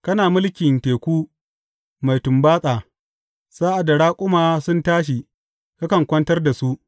Kana mulkin teku mai tumbatsa; sa’ad da raƙuma sun tashi, kakan kwantar da su.